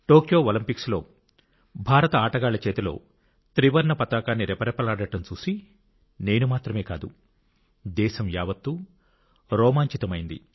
Tokyo ఒలింపిక్స్లో భారత ఆటగాల్లచేతిలో త్రివర్ణ పతాకం రెపెరెపెలాడటం చూసి చూసి నేను మాత్రమే కాదు దేశం యావత్తూ రోమాంచితమైంది